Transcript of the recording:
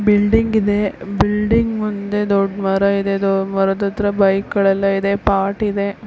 Building ಇದೆ building ಮುಂದೆ ದೊಡ್ಡ ಮರ ಇದೆ ದೊಡ್ಡ ಮರದ ಹತ್ರ ಬೈಕ್ಗ ಳೆಎಲ್ ಐದೇ ಪಾಟ್ ಇದೆ.